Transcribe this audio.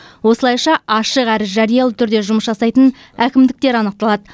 осылайша ашық әрі жариялы түрде жұмыс жасайтын әкімдіктер анықталады